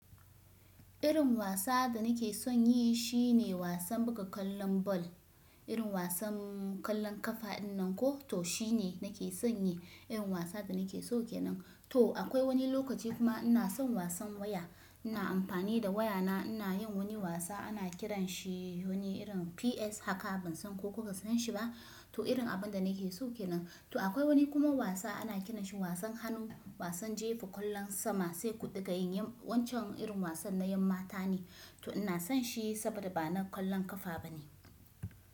Irin wasa da nake son yi shine wasan buga ƙwallon ball. Irin wasan ƙwallon ƙafa dinnan ko to shine nake son yi. Irin wasa da nake so kenan. To akwai wani lokaci kuma ina son wasan waya. Ina amfani da wayana ina yin wani wasa ana kiranshi wani irin PS haka bansan ko kuka san shi ba. To irin abinda nake so kenan. To akwai wani kuma wasa ana kiranshi wasan hannu. Wasan jefa ƙwallon sama sai ku ɗiga yin. Wancan irin wasan na 'yammata ne. To ina son shi saboda bana ƙwallon ƙafa bane.